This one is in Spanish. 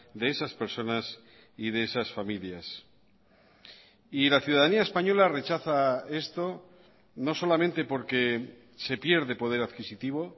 de esas personas y de esas familias y la ciudadanía española rechaza esto no solamente porque se pierde poder adquisitivo